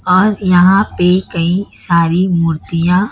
और यहां पर कई सारी मूर्तियां--